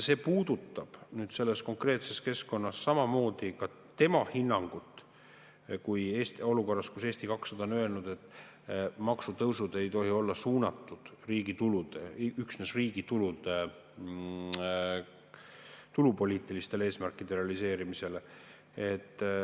See puudutab samamoodi tema hinnangut selles konkreetses keskkonnas ja olukorras, kus Eesti 200 on öelnud, et maksutõusud ei tohi olla suunatud üksnes riigi tulupoliitilistele eesmärkide realiseerimisele.